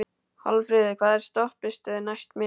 Valfríður, hvaða stoppistöð er næst mér?